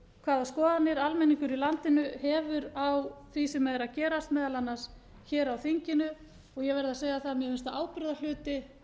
hvaða skoðanir almenningur í landinu hefur á því sem er að gerast meðal annars hér á þinginu ég verð að segja það að mér finnst það ábyrgðarhluti